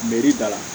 da la